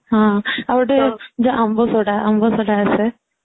ହଁ ଆଊ ଗୋଟେ ଆମ୍ବ ସୋଢା ଆମ୍ବ ସୋଢା ଗିତେ ଆସେ